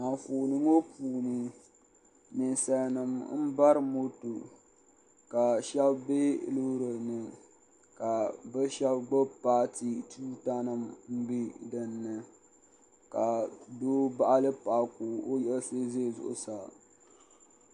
Anfooni ŋɔ puuni ninsal nim n bari moto ka shab bɛ loori ni ka bi shab gbubi paati tuuta nim n bɛ dinni ka doo baɣali paɣa ka o yiɣisi ʒɛ zuɣu saa